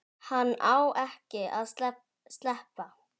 Hann á ekki að sleppa.